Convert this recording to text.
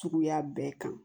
Suguya bɛɛ kan